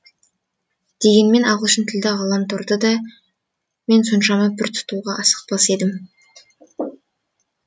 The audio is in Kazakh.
дегенмен ағылшын тілді ғаламторды да мен соншама пір тұтуға асықпас едім